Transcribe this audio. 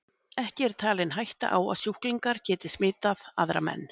Ekki er talin hætta á sjúklingar geti smitað aðra menn.